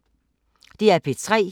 DR P3